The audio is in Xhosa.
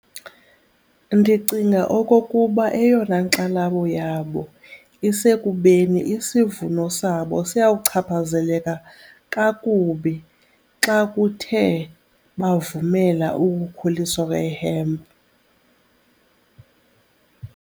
Ndicinga okokuba eyona nkxalabo yabo isekubeni isivuno sabo siyawuchaphazeleka kakubi xa kuthe bavumela ukukhuliswa kwe-hemp.